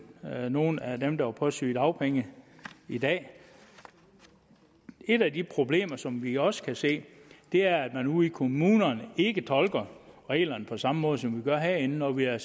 nogle af dem der er på sygedagpenge i dag et af de problemer som vi også kan se er at man ude i kommunerne ikke tolker reglerne på samme måde som vi gør herinde når vi har